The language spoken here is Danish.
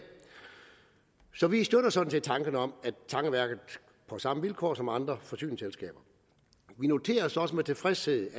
så vi støtter sådan set tanken om at tangeværket får samme vilkår som andre forsyningsselskaber vi noterer os også med tilfredshed